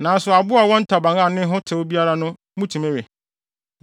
Nanso aboa a ɔwɔ ntaban a ne ho tew biara no motumi we.